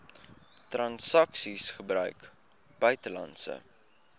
transaksies gebruik buitelandse